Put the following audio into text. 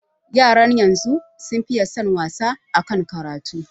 Yaran yanzu sun fiye son wasa akan karatu